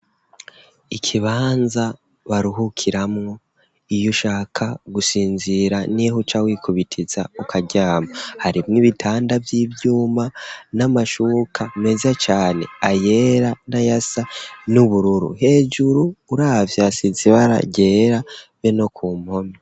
Ikibanza baruhukiramwo iyo ushaka gusinzira n'iho cawikubitiza ukaryama hari mwo ibitanda vy'ivyuma n'amashuka meza cane ayera nayasa n'ubururu .Hejuru uravyasizibaragera be no ku mpome.